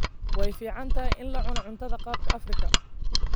Way fiican tahay in la cuno cuntada qaabka Afrika.